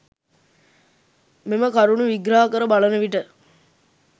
මෙම කරුණු විග්‍රහ කර බලන විට